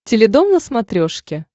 теледом на смотрешке